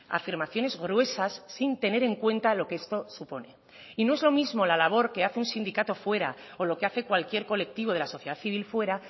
afirmaciones gruesas sin tener en cuenta lo que esto supone y no es lo mismo la labor que hace un sindicato fuera o lo que hace cualquier colectivo de la sociedad civil fuera